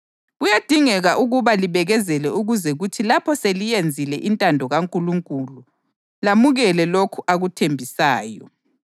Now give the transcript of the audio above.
Ngezinye izikhathi lenziwa umbukiso wokuhlanjazwa lokuhlukuluzwa; kwathi ngezinye izikhathi lamanyana lalabo ababephathwa kanjalo.